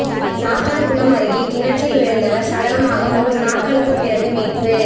சாத்தான்குளம் அருகே கிணற்றில் விழுந்தவர் சடலமாக மூன்று நாட்களுக்குப் பிறகு மீட்பு